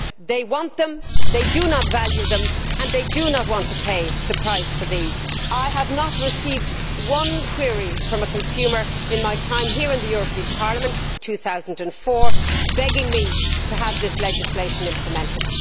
They want them. They do not value them, and they do not want to pay the price for these. I have not received one query from a consumer in my time here in the European Parliament since 2004 begging me to have this legislation implemented.